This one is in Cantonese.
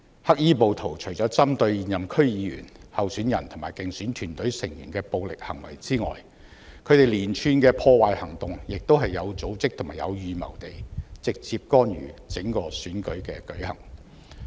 黑衣暴徒除了針對現任區議員、候選人及競選團隊成員的暴力行為之外，亦以有組織和有預謀的連串破壞行動直接干預整個選舉的舉行。